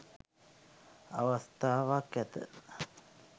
අවස්ථාවක් ඇත